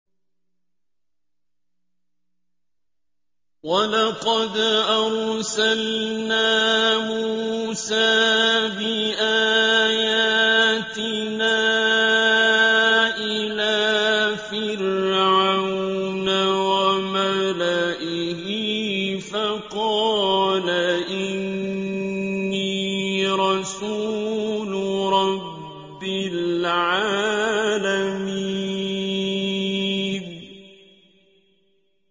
وَلَقَدْ أَرْسَلْنَا مُوسَىٰ بِآيَاتِنَا إِلَىٰ فِرْعَوْنَ وَمَلَئِهِ فَقَالَ إِنِّي رَسُولُ رَبِّ الْعَالَمِينَ